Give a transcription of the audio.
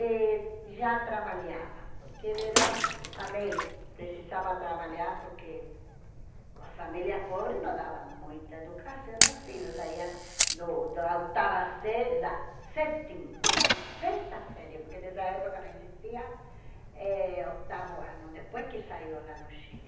e já trabalhava, porque ele era... também precisava trabalhar porque as famílias pobres não davam muita educação aos filhos, saíam do da oitava série... da sétima, não, sexta série, porque nessa época não existia eh oitavo ano, depois que saiu lá no Chile.